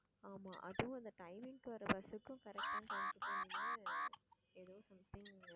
ஆமா அதுவும் அந்த timing வர bus க்கு correct ஆன time கு போய் நின்னு எதோ something